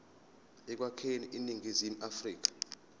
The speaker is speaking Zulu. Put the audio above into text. ekwakheni iningizimu afrika